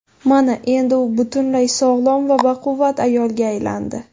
Mana endi u butunlay sog‘lom va baquvvat ayolga aylandi.